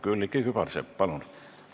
Külliki Kübarsepp, palun!